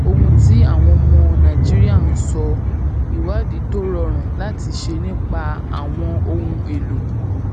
ohun tí àwọn ọmọ nàìjíríà ń sọ ìwádìí tó rọrùn láti ṣe nípa àwọn ohun elo elo